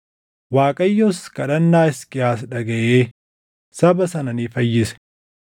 Waaqayyos kadhannaa Hisqiyaas dhagaʼee saba sana ni fayyise.